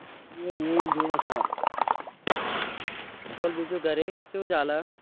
બોલ બીજું ઘરે કેવું ચાલે